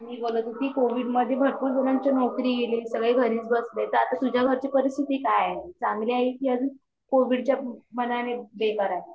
मी म्हणत होती कोविड मध्ये भरपूर जनांची नौकरी गेली सगळे घरीच बसले तर आता तुझ्या घरची परिस्थिति काय आहे? चांगली आहे की अजून कोविड च्या मानाने बेकार आहे?